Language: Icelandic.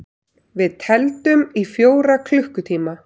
Við tefldum í fjóra klukkutíma!